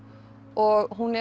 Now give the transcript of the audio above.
og hún